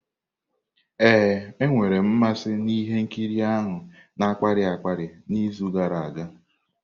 Ee, enwere m mmasị na ihe nkiri ahụ na-akpali akpali n'izu gara aga.